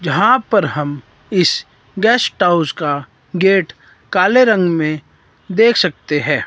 यहां पर हम इस गेस्ट हाउस का गेट काले रंग में देख सकते है।